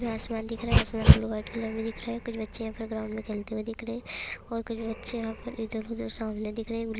आसमान दिख रहा है आसमान ब्लू व्हाइट कलर मे दिख रहा है कुछ बच्चे प्लेग्राउंड मे खेलते हुए दिख रहे है और कुछ बच्चे यहा पर इधर-उधर सामने दिख रहे है ब्लू --